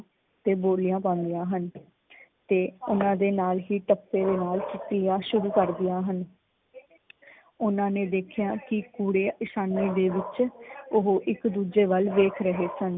ਤੇ ਬੋਲੀਆਂ ਪਾਉਂਦੀਆਂ ਹਨ ਤੇ ਓਹਨਾਂ ਦੇ ਨਾਲ ਹੀ ਟੱਪੇ ਦੇ ਨਾਲ ਕੀਤੀ ਵੀ ਪੜ੍ਹਦੀਆਂ ਹਨ। । ਓਹਨਾਂ ਨੇ ਵੇਖਿਆ ਕੀ ਕੂੜੈ ਅਸਾਨੀ ਦੇ ਵਿੱਚ ਓਹ ਇੱਕ ਦੂਜੇ ਵੱਲ ਵੇਖ ਰਹੇ ਸਨ।